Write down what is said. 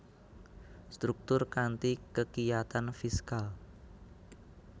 Struktur kanthi kekiyatan fiskal